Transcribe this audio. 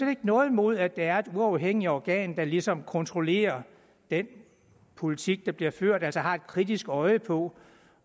har noget imod at der er et uafhængigt organ der ligesom kontrollerer den politik der bliver ført og altså har et kritisk øje på